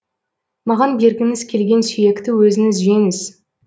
маған бергіңіз келген сүйекті өзіңіз жеңіз